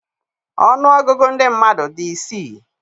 Ọnụ ọgụgụ ndị mmadụ dị isii